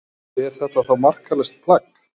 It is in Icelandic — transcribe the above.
Er þetta þá marklaust plagg?